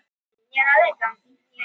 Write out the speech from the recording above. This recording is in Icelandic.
Bara ekki nokkurn skapaðan hlut.